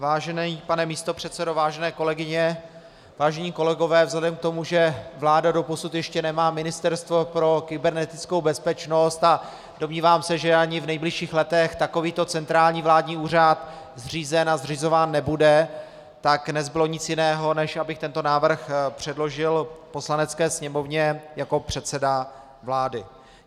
Vážený pane místopředsedo, vážené kolegyně, vážení kolegové, vzhledem k tomu, že vláda dosud ještě nemá ministerstvo pro kybernetickou bezpečnost a domnívám se, že ani v nejbližších letech takovýto centrální vládní úřad zřízen a zřizován nebude, tak nezbylo nic jiného, než abych tento návrh předložil Poslanecké sněmovně jako předseda vlády.